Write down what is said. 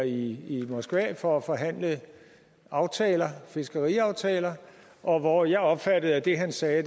i moskva for at forhandle aftaler fiskeriaftaler og hvor jeg opfattede at det han sagde